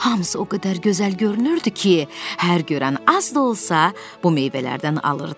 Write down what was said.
Hamısı o qədər gözəl görünürdü ki, hər görən az da olsa bu meyvələrdən alırdı.